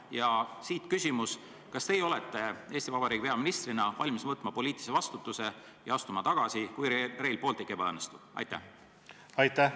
Ja siit küsimus: kas teie olete Eesti Vabariigi peaministrina valmis võtma poliitilise vastutuse ja astuma tagasi, kui Rail Balticu projekt ebaõnnestub?